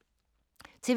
TV 2